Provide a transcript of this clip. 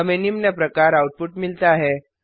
हमें निम्न प्रकार आउटपुट मिलता है